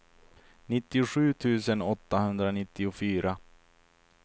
nittiosju tusen åttahundranittiofyra